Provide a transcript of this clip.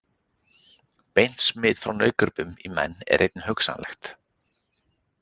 Beint smit frá nautgripum í menn er einnig hugsanlegt.